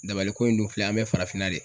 Dabaliko in dun filɛ an be farafinna de